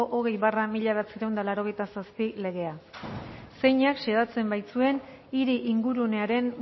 hogei barra mila bederatziehun eta laurogeita zazpi legea zeinak xedatzen baitzuen hiri ingurunearen